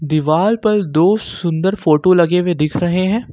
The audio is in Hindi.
दीवार पर दो सुंदर फोटो लगे हुए दिख रहे हैं।